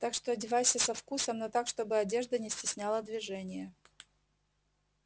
так что одевайся со вкусом но так чтобы одежда не стесняла движение